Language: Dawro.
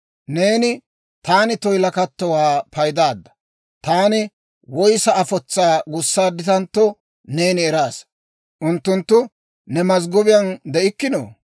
Neeni taani toyilakattowaa paydaadda. Taani woyssa afotsaa gussaadditantto, neeni eraasa. Unttunttu ne mazggobiyaan de'ikkinoo?